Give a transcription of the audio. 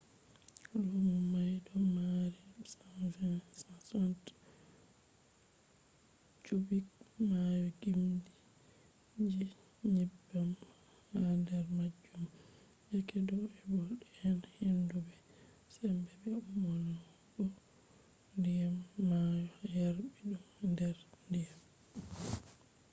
luno mai do maari 120-160 cubic maayo gimdi je nyebbam ha der majum yake do’e bo den hendu be sembe be ummugo diyam maayo yarbi dum der diyam